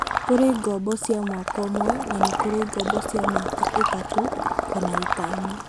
Kũri ngombo cia mwaka ũmwe na nĩ kũrĩ ngoombo cia mĩaka itatũ kana ĩtano